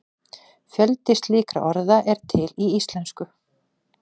Fjöldi slíkra orða er til í íslensku.